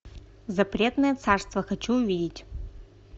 запретное царство хочу увидеть